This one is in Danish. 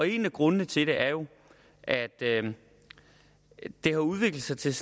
en af grundene til det er jo at det har udviklet sig til